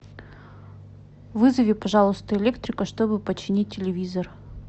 вызови пожалуйста электрика чтобы починить телевизор